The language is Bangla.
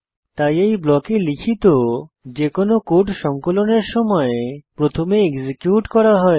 তাই এই ব্লকে লিখিত যেকোনো কোড সংকলনের সময় প্রথমে এক্সিকিউট করা হয়